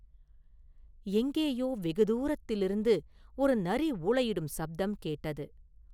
எங்கேயோ வெகு தூரத்திலிருந்து ஒரு நரி ஊளையிடும் சப்தம் கேட்டது.